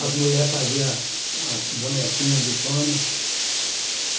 As mulheres faziam as bonequinha de pano.